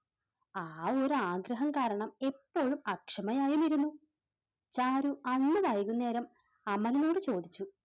ഒരു ആഗ്രഹം കാരണം എപ്പോഴും അക്ഷമയായിരുന്നു ചാരു അന്ന് വൈകുന്നേരം അമലിനോട് ചോദിച്ചു.